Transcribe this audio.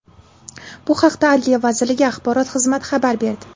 Bu haqda Adliya vazirligi axborot xizmati xabar berdi .